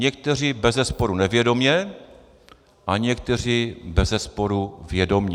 Někteří bezesporu nevědomě a někteří bezesporu vědomě.